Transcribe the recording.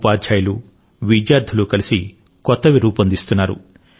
ఉపాధ్యాయులు విద్యార్థులు కలిసి కొత్తవి రూపొందిస్తున్నారు